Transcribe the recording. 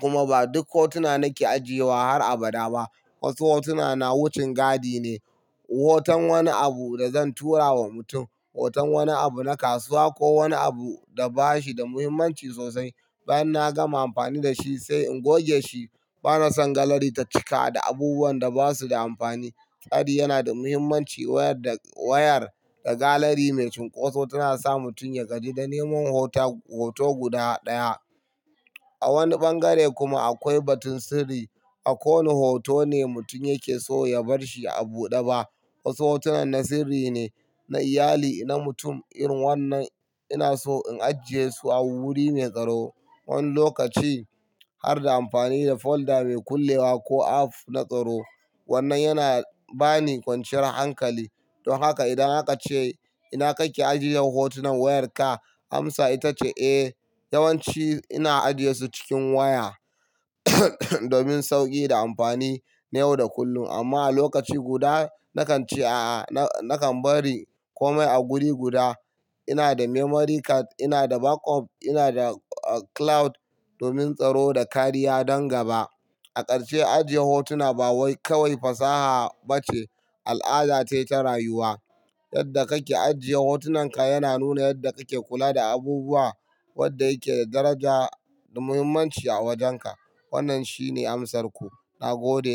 Kuma ba duk hotuna nake ajiyewa har abada ba. Wasu hotuna na wucin gadi ne. Hoton wani abu da zan tura wa mutum, hoton wani abu na kasuwa ko wani abu da ba shi da muhimmanci sosai. Bayan na gama amfani da shi sai in goge shi. Bana son gallery ta cika da abubuwan da ba su da amfani. Tsari yana da muhimmanci. Wayar da wayar da gallery mai cunkoso tana sa mutum ya gaji da neman hoto, hoto guda ɗaya. A wani bangare kuma akwai batun sirri. A kowane hoto ne mutum yake so ya bar shi a buɗe ba. Wasu hotunan na sirri ne, na iyali, na mutum. In wannan ina so in ajiye su a wuri mai tsaro wani lokaci har da amfani da folder mai kullewa ko app na tsaro. Wannan yana bani kwanciyar hankali. Don haka idan aka ce, "ina kake ajiyan hotunan wayarka?" amsa ita ce, "Eh, yawanci ina ajiyesu cikin waya domin sauƙi da amfani na yau da kullum amma a lokaci guda nakan ce, a'a, nakan bari komai a wuri guda. Ina da memory card, ina da backup, ina da cloud domin tsaro da kariya don gaba." A ƙarshe, ajiye hotuna ba kawai fasaha bace al'ada ce ta rayuwa. Yadda kake ajiye hotunanka yana nuna yadda kake kula da abubuwa wadda yake daraja da muhimmanci a wajenka. Wannan shine amsarku. Na gode.